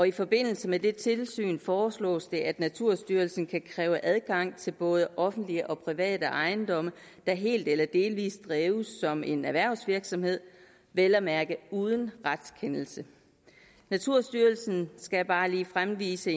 i forbindelse med det tilsyn foreslås det at naturstyrelsen kan kræve adgang til både offentlige og private ejendomme der helt eller delvis drives som en erhvervsvirksomhed vel at mærke uden retskendelse naturstyrelsen skal bare lige fremvise